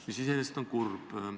See on iseenesest kurb.